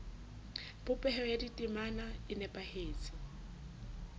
popeho ya ditemana e nepahetse